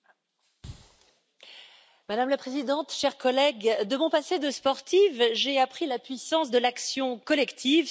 Madame la Présidente, chers collègues, de mon passé de sportive, j'ai appris la puissance de l'action collective, surtout face aux défis majeurs.